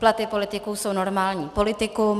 Platy politiků jsou normální politikum.